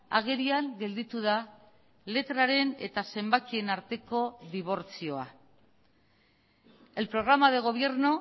agerian gelditu da letraren eta zenbakien arteko dibortzioa el programa de gobierno